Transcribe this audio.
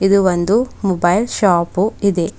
ಇದು ಒಂದು mobile shop ಇದೆ.